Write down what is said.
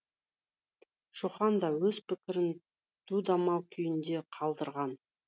шоқан да өз пікірін дүдамал күйінде қалдырған